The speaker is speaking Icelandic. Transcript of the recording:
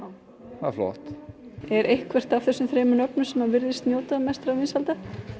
það er flott er einhvert af þessum nöfnum sem virðist njóta mestra vinsælda